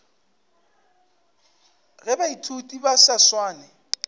ge baithuti ba sa swane